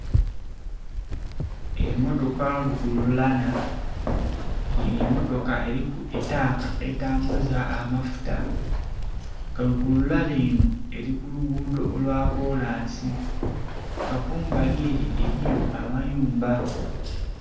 Emmotoka lukululana eno emmotoka liku etanka etambuza amafuta ke lukululana eno eri kuluguudo lwa kolansi kekumbali ere eriyo amayumba.